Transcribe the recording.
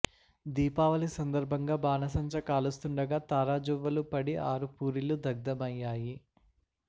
దీపావళి సందర్భంగా బాణసంచా కాలుస్తుండగా తారాజువ్వలు పడి ఆరు పూరిళ్లు దగ్ధమయ్యాయి